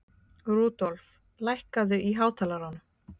Rudolf, lækkaðu í hátalaranum.